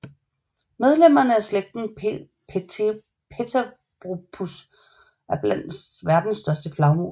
Medlemmerne af slægten Pteropus er blandt verdens største flagermus